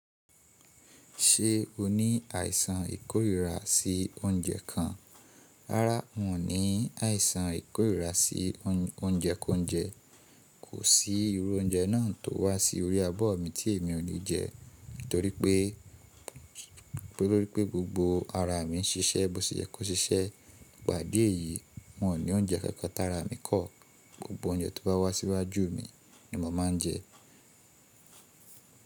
Ṣe o ni àìsàn ìkórìíra sí oúnjẹ kan? Rárá, n ò ní àìsàn ìkórìíra sí oúnjẹ kónjẹ. Kò sí irú oúnjẹ náà tó wá sí orí abọ́ mi tí èmi ò ní jẹ nítorí pé gbogbo ara mi ń ṣiṣẹ́ bó ṣe jẹ kó ṣiṣẹ́. Nípa ìdí èyí, n ò ní oúnjẹ kankan tara mi kọ́. Gbogbo oúnjẹ tó bá wá síwájú mi ni mo máa ń jẹ.